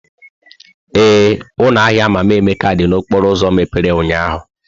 Ee, ụlọ ahịa Mama Emeka dị n'okporo ụzọ mepere ụnyahụ.